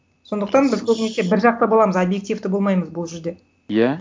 сондықтан біз көбінесе бір жақта боламыз объективті болмаймыз бұл жерде иә